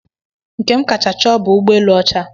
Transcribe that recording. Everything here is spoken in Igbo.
Nke m kacha chọọ bụ ụgbọelu ọcha.